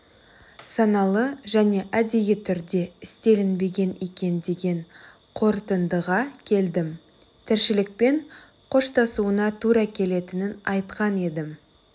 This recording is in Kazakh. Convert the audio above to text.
саналы және әдейі түрде істелінбеген екен деген қорытындыға келдім тіршілікпен қоштасуына тура келетінін айтқан едім